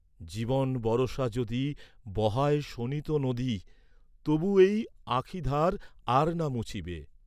জীবন বরষা যদি, বহায় শোণিত নদী তবু এই আঁখিধার আর না মুছিবে।